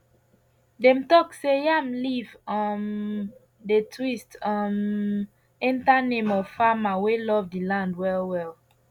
dem talk say yam leaf um dey twist um enter name of farmer wey love the land well well